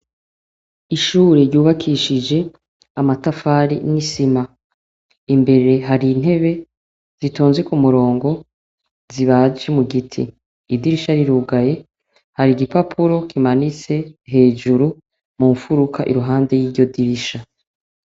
Ishure ryubakishije amatafari n'isima, imbere hari intebe zitonze ku murongo zibaje mu giti, idirisha rirugaye hari igipapuro kimanitse hejuru mu mfuruka iruhande y'iryo dirisha.